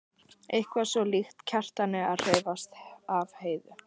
Eitthvað svo líkt Kjartani að hrífast af Heiðu.